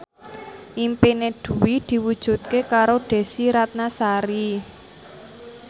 impine Dwi diwujudke karo Desy Ratnasari